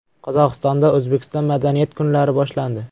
Qozog‘istonda O‘zbekiston madaniyat kunlari boshlandi .